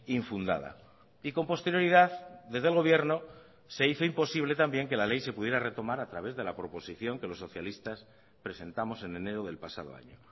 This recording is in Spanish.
infundada y con posterioridad desde el gobierno se hizo imposible también que la ley se pudiera retomar a través de la proposición que los socialistas presentamos en enero del pasado año